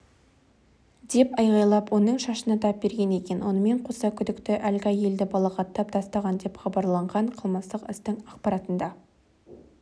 деп айғайлап оның шашына тап берген екен онымен қоса күдікті әлгі әйелді балағаттап тастаған деп хабарланған қылмыстық істің ақпаратында